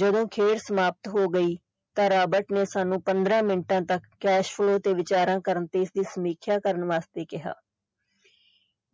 ਜਦੋਂ ਖੇਡ ਸਮਾਪਤ ਹੋ ਗਈ ਤਾਂ ਰਾਬਰਟ ਨੇ ਸਾਨੂੰ ਪੰਦਰਾਂ ਮਿੰਟਾਂ ਤੱਕ cashflow ਤੇ ਵਿਚਾਰਾਂ ਕਰਨ ਤੇ ਸਮੀਖਿਆਂ ਕਰਨ ਵਾਸਤੇ ਕਿਹਾ